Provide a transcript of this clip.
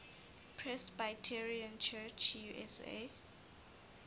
presbyterian church usa